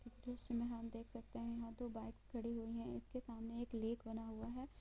इस दृश्य हम देख सकते है की यहाँ दो बाइक खड़ी हुई है इसके सामने एक लेक बना हुआ है।